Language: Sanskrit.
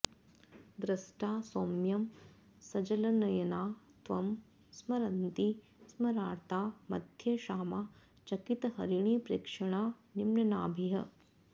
दृष्टा सौम्यं सजलनयना त्वं स्मरन्ती स्मरार्ता मध्ये क्षामा चकितहरिणीप्रेक्षणा निम्ननाभिः